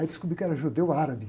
Aí descobri que era judeu árabe.